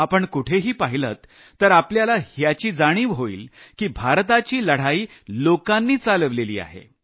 आपण कुठेही पाहिलंत तर आपल्याला याची जाणीव होईल की भारताची लढाई लोकांनी चालवलेली आहे